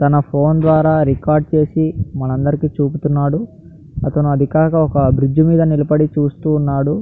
తన ఫోన్ ద్వారా రికార్డు చేసి మన అందరికి చూపుతున్నాడు అతను అదికాక ఒక బ్రిడ్జి మీద నిలబడి చూస్తూన్నాడు.